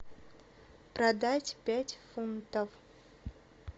продать пять фунтов